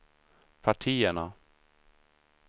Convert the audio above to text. partierna